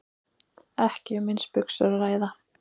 Ekki um eins buxur að ræða